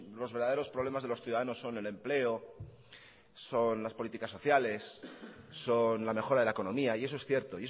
los verdaderos problemas de los ciudadanos son el empleo son las políticas sociales son la mejora de la economía y eso es cierto